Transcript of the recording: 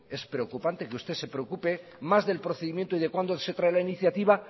que es preocupante que usted se preocupe más del procedimiento y de cuándo se trae la iniciativa